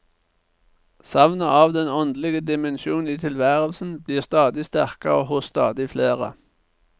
Savnet av den åndelige dimensjon i tilværelsen blir stadig sterkere hos stadig flere.